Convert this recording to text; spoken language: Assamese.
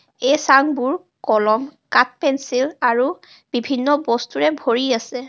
এই চাংবোৰ কলম কাঠ পেঞ্চিল আৰু বিভিন্ন বস্তুৰে ভৰি আছে.